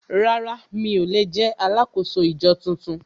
Rárá mi ò lè jẹ́ alákòóso ìjọ tuntun